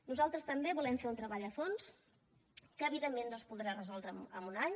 nosaltres també volem fer un treball a fons que evidentment no es podrà resoldre en un any